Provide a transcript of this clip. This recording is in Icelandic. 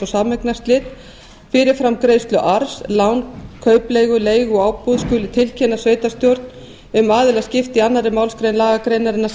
og sameignarslit fyrirframgreiðslu arfs lán kaupleigu leigu og ábúð skuli tilkynna sveitarstjórn um aðilaskiptin í öðrum málsl lagagreinarinnar